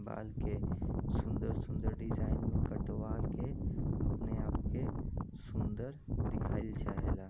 बाल के सुंदर-सुंदर डिजाइन में कटवा के अपने आप के सुंदर दिखाइल चाहेला।